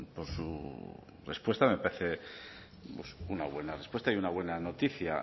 por su respuesta me parece pues una buena respuesta y una buena noticia